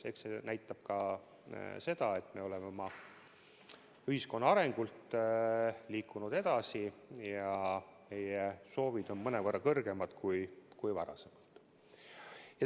Eks see näitab ka seda, et me oleme oma ühiskonna arengult liikunud edasi ja meie soovid on mõnevõrra kõrgemad kui varem.